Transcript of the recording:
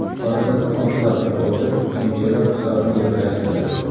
Oradan olti daqiqa o‘tib, Kintero hisobni yiriklashtirdi.